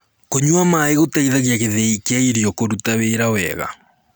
kũnyua maĩ gũteithagia githii kia irio kũrũta wĩra wega